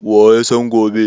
Wa ya san gobe?